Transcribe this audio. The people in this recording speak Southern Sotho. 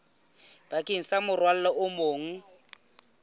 bakeng sa morwalo o mong